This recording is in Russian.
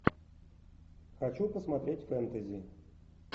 хочу посмотреть фэнтези